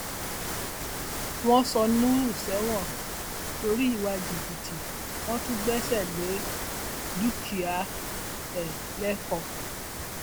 wọn sọ nuhu sẹwọn torí ìwà jìbìtì wọn tún gbẹsẹ lé dúkìá ẹ lẹkọọ